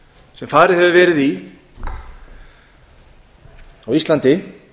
sem farið hefur verið í á íslandi